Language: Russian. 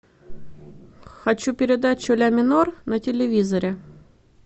хочу передачу ля минор на телевизоре